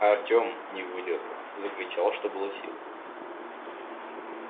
артём не выдержав закричал что было сил